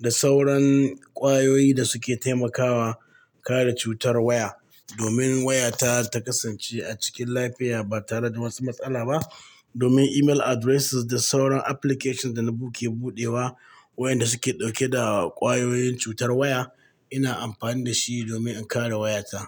da sauran ƙwayoyi da suke taimakawa kare cutar waya, domin wayata ta kasance a cikin lafiya ba tare da watsu matsala ba. Domin email addresses da sauran application da nabuke buɗewa, wayanda suke ɗauke da ƙwayoyin cutar waya, ina ampani da shi domin in kare wayata.